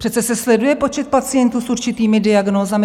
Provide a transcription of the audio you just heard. Přece se sleduje počet pacientů s určitými diagnózami.